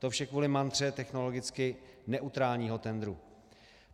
To vše kvůli mantře technologicky neutrálního tendru.